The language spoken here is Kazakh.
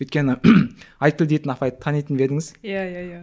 өйткені айтгул деген апайды танитын ба едіңіз иә иә иә